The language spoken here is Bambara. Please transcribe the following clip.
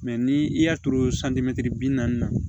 ni i y'a turu bi naani na